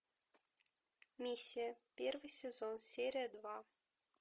миссия первый сезон серия два